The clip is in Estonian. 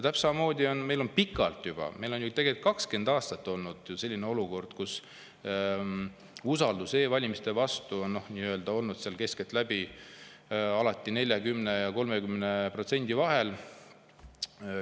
Täpselt samamoodi on meil juba pikalt, tegelikult 20 aastat olnud selline olukord, kus usaldus e-valimiste vastu on olnud keskeltläbi 30% ja 40% vahel.